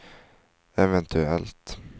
eventuellt